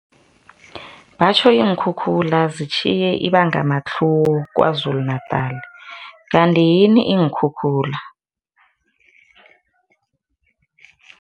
Batjho iinkhukhula zitjhiye ibangamatlhuwo KwaZulu-Natal. Kanti yini iinkhukhula?